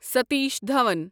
Satish Dhawan